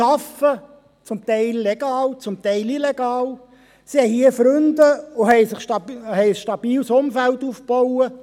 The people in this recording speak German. Sie arbeiten – zum Teil legal, zum Teil illegal –, sie haben hier Freunde und haben sich ein stabiles Umfeld aufgebaut.